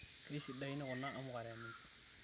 keisidain kuna amuka teninche